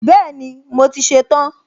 Bẹ́ẹ̀ni, mo ti ṣe tán